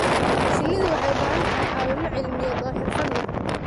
Shinnidu waxay u baahan tahay caawimo cilmiyeed oo xirfad leh.